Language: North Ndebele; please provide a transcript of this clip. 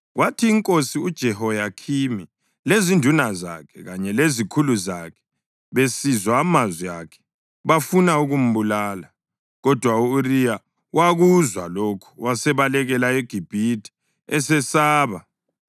Kwathi inkosi uJehoyakhimi lezinduna zakhe kanye lezikhulu zakhe besizwa amazwi akhe, bafuna ukumbulala. Kodwa u-Uriya wakuzwa lokho wasebalekela eGibhithe esesaba.